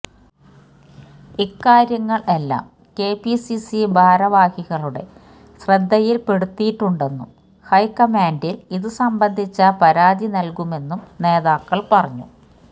ഇക്കാര്യങ്ങള് എല്ലാം കെപിസിസി ഭാരവാഹികളുടെ ശ്രദ്ധയില്പ്പെടുത്തിയിട്ടുണ്ടെന്നും ഹൈക്കമാന്റില് ഇതുസംബന്ധിച്ച പരാതി നല്കുമെന്നും നേതാക്കള് പറഞ്ഞു